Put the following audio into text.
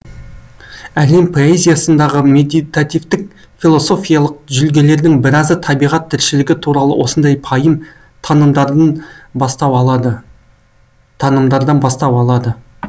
әлем поэзиясындағы медитативтік философиялық жүлгелердің біразы табиғат тіршілігі туралы осындай пайым танымдардан бастау алады